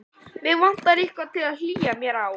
Mig vantar eitthvað til að hlýja mér á.